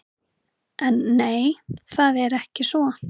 En nei, það er ekki svo.